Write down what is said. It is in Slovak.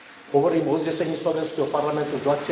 Hovorím o uznesení slovenského parlamentu z